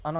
Ano.